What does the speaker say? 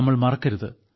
നമ്മൾ മറക്കരുത്